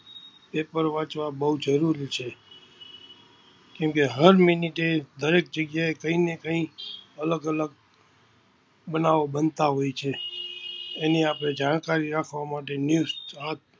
PayPal વાચવા બૌ જરુરી છે કેમ કે હર મિનિટે, દરેક જગ્યાએ કંઈને કંઈ અલગ અલગ બનાવો બનતા હોય છે. એની આપણે જાણકારી રાખવા માટે News